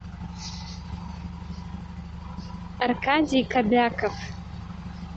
аркадий кобяков